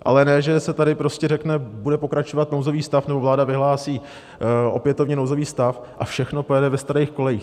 Ale ne že se tady prostě řekne: Bude pokračovat nouzový stav nebo vláda vyhlásí opětovně nouzový stav, a všechno pojede ve starých kolejích.